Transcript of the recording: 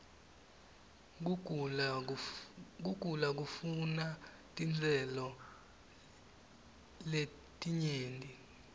kugula kufuna titselo ietinyenti